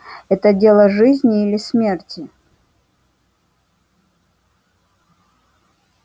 это дело жизни или смерти